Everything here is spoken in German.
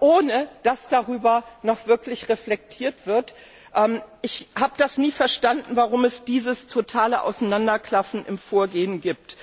ohne dass darüber noch wirklich reflektiert wird. Ich habe das nie verstanden, warum es dieses totale Auseinanderklaffen im Vorgehen gibt.